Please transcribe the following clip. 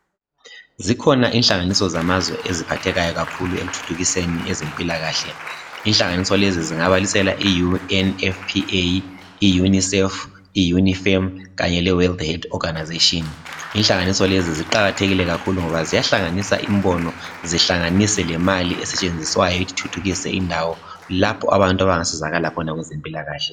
Zikhona inhlanganiso zamazwe eziphathekayo kakhulu ekuthuthukiseni ezempilakahle. Inhlanganiso lezi zingabalisela i UNFPA, i UNICEF, i UNIFEM kanye le World Health Organization. Inhlanganiso lezi ziqakathekile kakhulu ngoba ziyahlanganisa imbono, zihlanganise lemali esetshenziswayo ukuthuthukisa indawo lapho abantu abangasizakala khona kwezempilakahle.